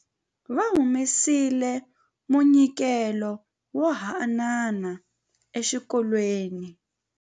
Va humesile munyikelo wo haanana exikolweni.